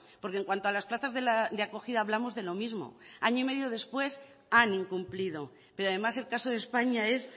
porque en cuanto a las plazas de acogida hablamos de lo mismo año y medio después han incumplido pero además el caso de españa es